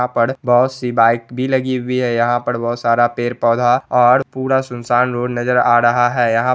यहाँ पर बहुत-सी बाइक भी लगी हुई है| यहाँ पर बहुत सारा पेड़-पौधा और पूरा सुनसान रोड़ नजर आ रहा है| यहाँ --